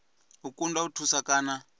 u kundwa u thusa kana